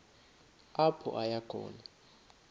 apho aya khona